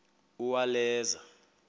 uwaleza